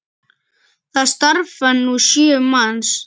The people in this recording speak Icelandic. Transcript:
Þar starfa nú sjö manns.